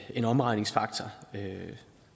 en omregningsfaktor